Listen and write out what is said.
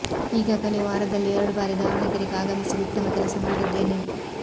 ಈಗಾಗಲೇ ವಾರದಲ್ಲಿ ಎರಡು ಬಾರಿ ದಾವಣಗೆರೆಗೆ ಆಗಮಿಸಿ ಉತ್ತಮ ಕೆಲಸ ಮಾಡಿದ್ದೇನೆ